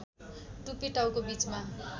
टुपी टाउको बीचमा